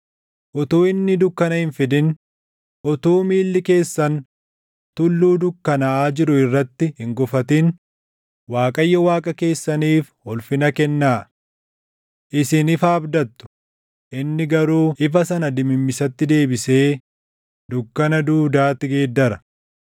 Utuu inni dukkana hin fidin, utuu miilli keessan tulluu dukkanaaʼaa jiru irratti hin gufatin Waaqayyo Waaqa keessaniif ulfina kennaa. Isin ifa abdattu; inni garuu ifa sana dimimmisatti deebisee dukkana duudaatti geeddara.